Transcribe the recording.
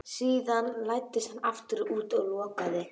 Síðan læddist hann aftur út og lokaði.